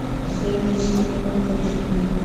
поставь десятиминутные истории